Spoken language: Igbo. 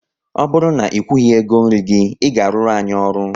Ọ bụrụ na ị kwughi ego nri gị, ị ga aruru anyị ọrụ!